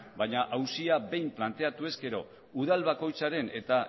baina auzia behin planteatu ezkero udal bakoitzaren eta